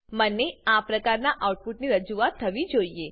મને આ પ્રકારનાં આઉટપુટની રજૂઆત થવી જોઈએ